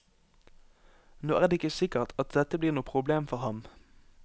Nå er det ikke sikkert at dette blir noe problem for ham.